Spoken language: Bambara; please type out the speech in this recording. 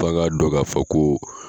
Fa ka dɔn k' fɔ ko.